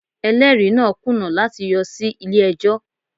Ẹlẹ́rìí náà kùnà láti yọ sí ilé ẹjọ́